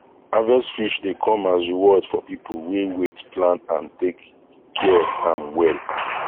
harvest fish dey come as reward for people wey waitplan and take care am well